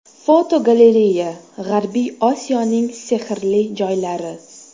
Fotogalereya: G‘arbiy Osiyoning sehrli joylari.